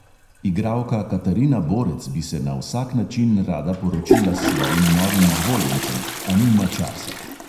Igralka katarina borec bi se na vsak način rada poročila s svojim novim izvoljencem, a nima časa.